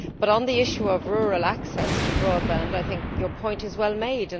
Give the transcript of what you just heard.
On the issue of rural access to broadband, I think the point is well made.